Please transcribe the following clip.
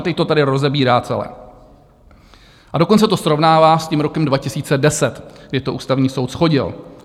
A teď to tady rozebírá celé, a dokonce to srovnává s tím rokem 2010, kdy to Ústavní soud shodil.